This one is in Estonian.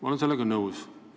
Ma olen sellega nõus.